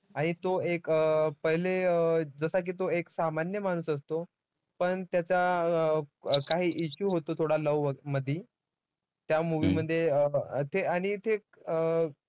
आणि तो एक अं पहिले जसा की तो एक सामान्य माणूस असतो, पण त्याचा अं काही issue होतो थोडा love मध्ये. त्या movie मध्ये अं ते आणि ते अं